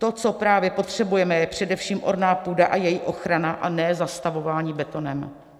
To, co právě potřebujeme, je především orná půda a její ochrana, a ne zastavování betonem.